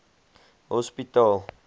hospitaal